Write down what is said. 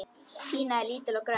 Pína er lítil og grönn.